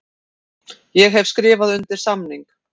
Ég hef skrifað undir samning.